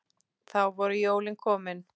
Þá voru jólin komin.